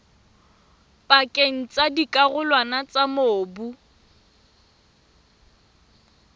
pakeng tsa dikarolwana tsa mobu